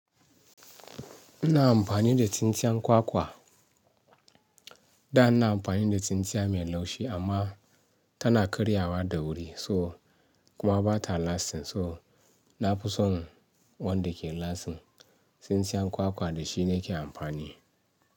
Ina amfani da tsintsiyan kwakwa. Da ina amfani da tsintsiya mai laushi amma tana karyawa da wuri so kuma ba ta lasting. So na fi son wanda ke lasting. Tsintsiyan kwakwa da shi ne ke amfani.